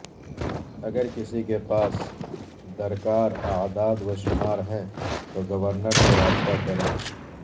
اگر کسی کے پاس درکار اعداد وشمار ہیں تو گورنر سے رابطہ کریں